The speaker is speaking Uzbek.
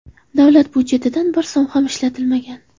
Davlat budjetidan bir so‘m ham ishlatilmagan.